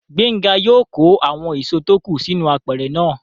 Gbénga yóò kó àwọn èso tó kù sínú apẹ̀rẹ̀ náà